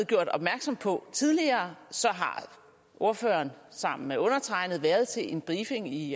gjort opmærksom på tidligere så har ordføreren sammen med undertegnede været til en briefing i